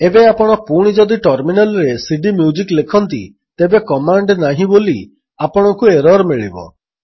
ଏବେ ଆପଣ ପୁଣି ଯଦି ଟର୍ମିନାଲ୍ରେ cdମ୍ୟୁଜିକ୍ ଲେଖନ୍ତି ତେବେ କମାଣ୍ଡ୍ ନାହିଁ ବୋଲି ଆପଣଙ୍କୁ ଏରର୍ ମିଳିବ